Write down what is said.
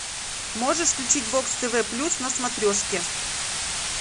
можешь включить бокс тв плюс на смотрешке